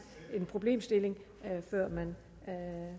en problemstilling før man tager